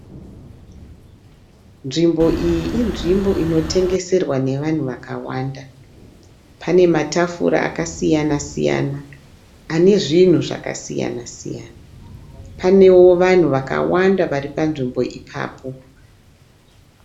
Nzvimbo iyi inzvimbo inotengeserwa nevanhu vakawanda. Pane matafura akasiyana siyana, ane zvinhu zvakasiyana siyana. Panewo vanhu vakawanda varipanzvimbo ipapo.